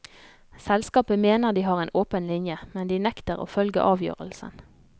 Selskapet mener de har en åpen linje, men de nekter å følge avgjørelsen.